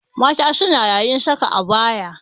Mata suna yayin saka abaya.